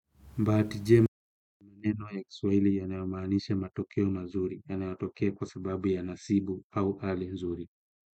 Bahati njema ni maneno ya kiswahili yanayomaanisha matokeo mazuri yanayotokea kwa sababu ya nasibu au hali nzuri.